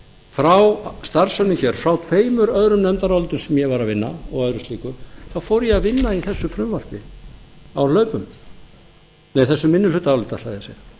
frá starfsönnum hér frá tveimur öðrum nefndarálitum sem ég var að vinna og öðru slíku þá fór ég að vinna í þessu minnihlutaáliti á hlaupum það er